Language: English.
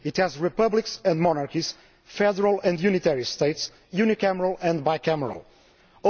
It has republics and monarchies, federal and unitary states, unicameral and bicameral parliaments.